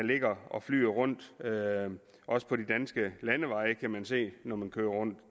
ligger og flyder rundt også på de danske landeveje det kan man se når man kører rundt